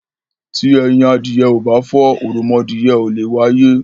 Tí ẹyin adìyẹ ò bá fọ́, oromọadìyẹ ò leè wáyé.